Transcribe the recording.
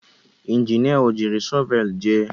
Injinia o jiri shọvel jee?